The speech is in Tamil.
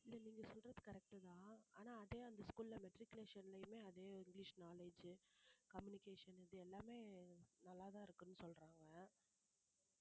இல்லை நீங்க சொல்றது correct உ தான் ஆனா அதே அந்த school ல matriculation லயுமே அதே இங்கிலிஷ் knowledge உ communication இது எல்லாமே நல்லாதான் இருக்குன்னு சொல்றாங்க